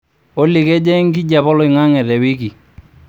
olly kejaa enkijape olaing'ange' tena wiki